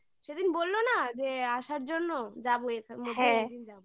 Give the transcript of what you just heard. সেদিন বললো না যে আসার জন্য যাবো এখানে